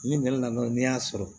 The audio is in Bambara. Ni nana ni y'a sɔrɔ